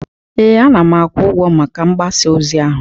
ee, ana m akwụ ụgwọ maka mgbasa ozi ahụ